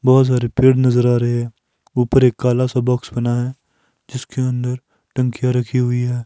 बहोत सारे पेड़ नजर आ रहे हैं ऊपर एक काला सा बॉक्स बना है जिसके अंदर टंकिया रखी हुई है।